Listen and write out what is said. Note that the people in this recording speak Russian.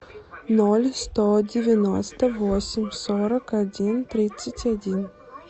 ноль сто девяносто восемь сорок один тридцать один